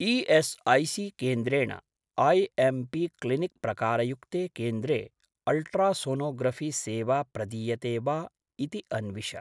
ई.एस्.ऐ.सी.केन्द्रेण IMP. Clinic प्रकारयुक्ते केन्द्रे ultrasonography सेवा प्रदीयते वा इति अन्विष।